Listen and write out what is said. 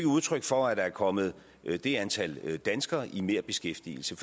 udtryk for at der er kommet det antal danskere i merbeskæftigelse